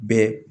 Bɛɛ